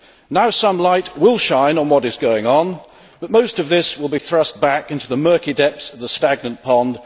Now some light will shine on what is going on, but most of this will be thrust back into the murky depths of the stagnant pond